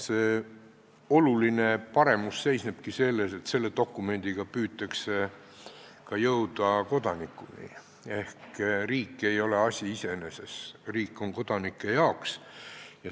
See oluline paremus seisnebki selles, et selle dokumendiga püütakse jõuda kodanikuni ehk riik ei ole asi iseeneses, riik on kodanike jaoks.